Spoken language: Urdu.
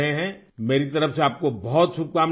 میری جانب سے آپ کو بہت ساری نیک خواہشات